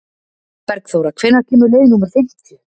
Bergþóra, hvenær kemur leið númer fimmtíu?